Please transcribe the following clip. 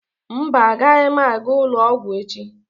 Mba, agaghị m aga ụlọ ọgwụ echi.